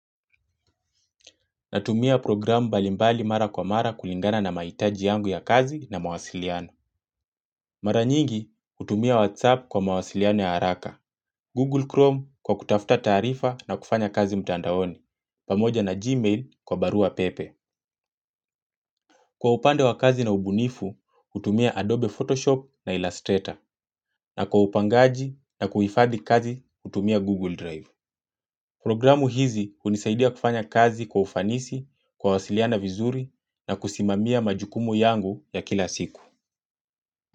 Natumia programu mbalimbali mara kwa mara kulingana na mahitaji yangu ya kazi na mawasiliano. Mara nyingi, hutumia WhatsApp kwa mawasiliano ya haraka. Google Chrome kwa kutafta tarifa na kufanya kazi mtandaoni. Pamoja na Gmail kwa barua pepe. Kwa upande wa kazi na ubunifu, utumia Adobe Photoshop na Illustrator. Na kwa upangaji na kuhifadhi kazi, hutumia Google Drive. Programu hizi hunisaidia kufanya kazi kwa ufanisi, kuwasiliana vizuri na kusimamia majukumu yangu ya kila siku.